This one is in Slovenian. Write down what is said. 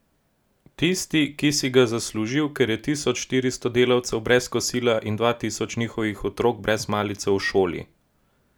Tisti, ki si ga zaslužil, ker je tisoč štiristo delavcev brez kosila in dva tisoč njihovih otrok brez malice v šoli.